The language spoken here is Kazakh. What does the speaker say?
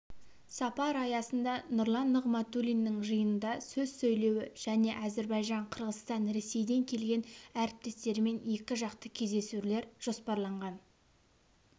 сапар аясында нұрлан нығматулиннің жиынында сөз сөйлеуі және әзербайжан қырғызстан ресейден келген әріптестерімен екіжақты кездесулер жоспарланған